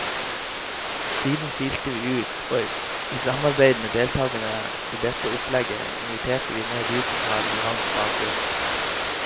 Siden silte vi ut, og i samarbeid med deltagerne i dette opplegget inviterte vi ned de som har relevant bakgrunn.